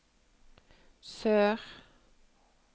sør